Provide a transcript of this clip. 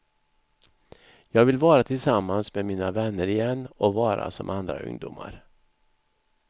Jag vill vara tillsammans med mina vänner igen och vara som andra ungdomar.